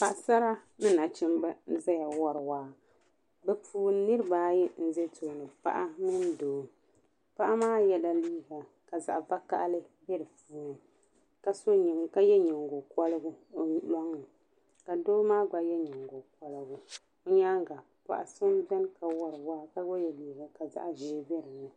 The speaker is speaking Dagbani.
Paɣasara ni nachimba n zaya wɔri waa bɛ puuni niriba ayi n bɛni paɣa mini doo paɣa maa yɛla liiga ka zaɣi vokahali bɛ di puuni ka yɛ nyingɔ kɔrigu o lɔŋni ka doo maa gba yɛ nyingɔ kɔrigu o nyaaŋa paɣa so bɛni ka wari waa ka gba yɛ liiga ka zaɣi ʒee bɛ dinni.